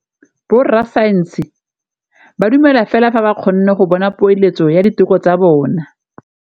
Borra saense ba dumela fela fa ba kgonne go bona poeletsô ya diteko tsa bone.